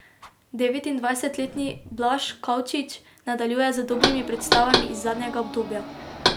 Devetindvajsetletni Blaž Kavčič nadaljuje z dobrimi predstavami iz zadnjega obdobja.